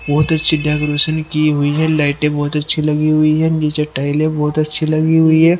बहुत अच्छी डेकोरेशन की हुई है लाइटे बहुत अच्छी लगी हुई है नीचे टॉइले बहुत अच्छी लगी हुई है।